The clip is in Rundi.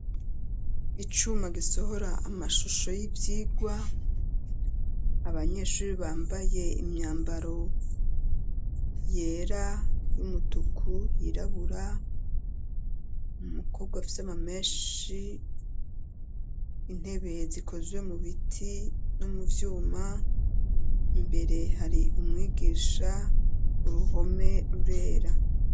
Icuma, gisohora amashusho y'ivyigwa, abanyeshuri, bambaye imyambaro yera, y'umutuku, yirabura; umukobwa, afise amamenshi, intebe zikozwe mu biti, no mu vyuma, imbere hari umwigisha, uruhome rurera.